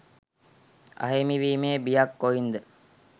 අහිමි වීමේ බියක් කොයින්ද?